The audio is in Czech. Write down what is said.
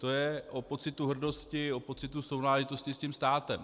To je o pocitu hrdosti, o pocitu sounáležitosti s tím státem.